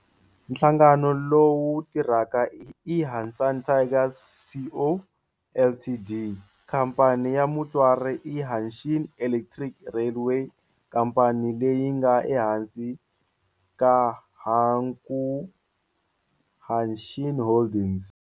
Nhlangano lowu tirhaka i Hanshin Tigers Co., Ltd. Khamphani ya mutswari i Hanshin Electric Railway, khamphani leyi nga ehansi ka Hankyu Hanshin Holdings.